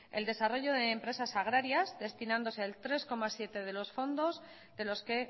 el desarrollo de empresas agrarias destinándose el tres coma siete de los fondos de los que